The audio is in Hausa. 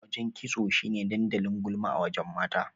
Wajen kitso shine dandalin gulma a wajen mata.